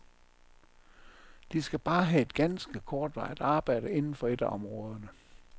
De skal bare have et ganske kortvarigt arbejde inden for et af områderne.